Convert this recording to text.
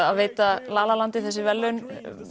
að veita la la landi þessi verðlaun